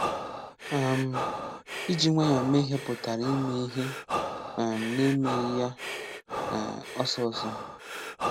um Iji nwayọ mee ihe pụtara ime ihe um n'emeghị ya um ọsọ ọsọ.